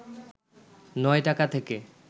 ৯ টাকা থেকে